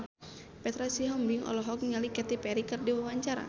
Petra Sihombing olohok ningali Katy Perry keur diwawancara